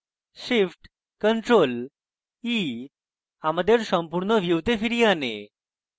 shift + ctrl + e আমাদের সম্পূর্ণ ভিউতে ফিরিয়ে আনে